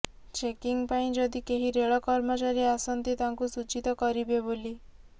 checking ପାଇଁ ଯଦି କେହି ରେଳ କର୍ମଚାରୀ ଆସନ୍ତି ତାଙ୍କୁ ସୂଚିତ କରିବେ ବୋଲି